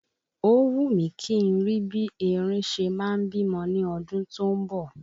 Ó wù mí kí n rí bí erin ṣe ma ń bímọ ní ọdún tó ń bọ̀